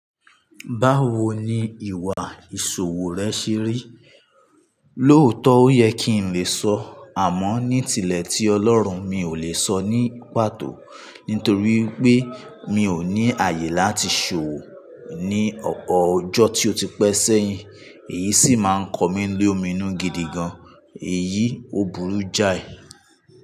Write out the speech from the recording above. Báwo ni ìwà ìṣòwò rẹ ṣe rí? Lóòtọ́, ó yẹ kí n lè sọ, àmọ́ ní tilẹ̀ tí Ọlọ́run, mi ò lè sọ ní pàtó. Nítorí pé mi ò ní àyè láti ṣòwò ní ọ̀pọ̀ ọjọ́ tí ó ti pẹ́ sẹ́yìn. Èyí sì máa ń kan mí lo mi inú gidigan. Èyí ò burú jáì.